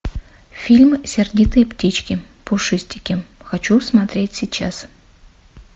фильм сердитые птички пушистики хочу смотреть сейчас